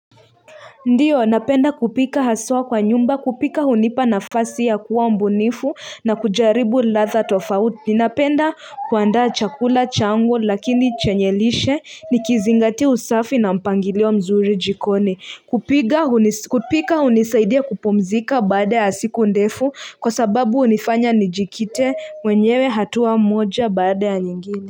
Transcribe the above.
Ndio, napenda kupika haswa kwa nyumba, kupika hunipa nafasi ya kuwa mbunifu na kujaribu ladha tofauti. Napenda kuandaa chakula changu lakini chenye lishe nikizingatia usafi na mpangilio mzuri jikoni. Kupika hunisaidia kupumzika baada ya siku ndefu kwa sababu hunifanya nijikite mwenyewe hatua moja baada ya nyingine.